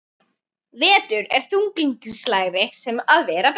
Vetur er þunglyndislegri sem og vera ber.